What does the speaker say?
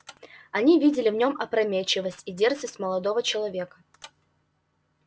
они видели в нём опрометчивость и дерзость молодого человека